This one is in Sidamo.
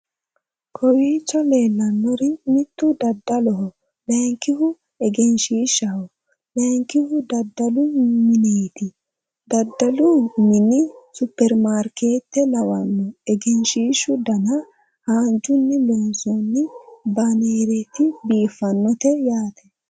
kowiicho leellannori mittu dadaloho laynkihu egenshshishaho laynkihu dadalu mineeti dadalu mini superimarikeete lawanno egenshshishu dana haanjunni loonsoonni banereeti biiffannote yaate